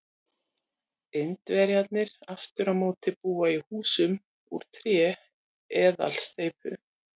Indverjarnir aftur á móti búa í húsum úr tré eða steypu.